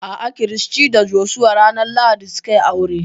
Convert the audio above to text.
A'a, Christy da Joshua ranar lahadi su ka yi aure